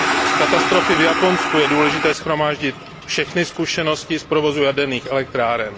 Z katastrofy v Japonsku je důležité shromáždit všechny zkušenosti z provozu jaderných elektráren.